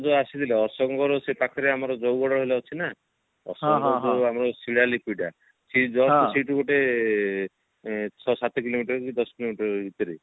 ଆସିଥିଲେ ଅଶୋକ ଙ୍କର ସେ ପାଖରେ ଗଲେ ଜଉଗଡ ବୋଲି ଅଛି ନା ଅଶୋକ ଙ୍କର ଯୋଉ ଆମର ଶିଳା ଲିପି ଟା ସେ just ସେଇଠୁ ଗୋଟେ ଏ ଛଅ ସାତ କିଲୋମିଟର କି ଦଶ କିଲୋମିଟର ଭିତରେ